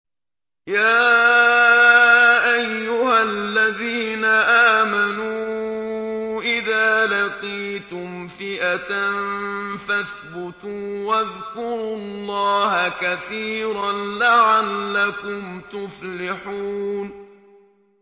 يَا أَيُّهَا الَّذِينَ آمَنُوا إِذَا لَقِيتُمْ فِئَةً فَاثْبُتُوا وَاذْكُرُوا اللَّهَ كَثِيرًا لَّعَلَّكُمْ تُفْلِحُونَ